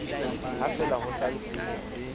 ha fela ho sa ntse